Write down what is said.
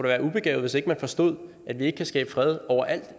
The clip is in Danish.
være ubegavet hvis ikke man forstod at vi ikke kan skabe fred overalt